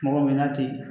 Mɔgɔ bɛ na ten